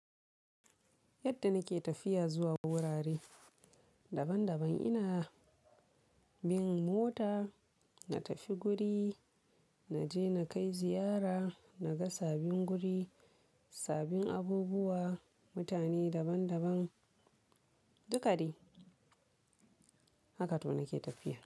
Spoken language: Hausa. Yadda nake tafiya zuwa wurare daban daban ina bin mota, na tafi guri, na je na kai ziyara, na ga sabin guri, sabin abubuwa, mutane daban daban, duka dai haka to nake tafiya.